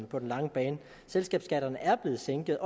på den lange bane selskabsskatten er blevet sænket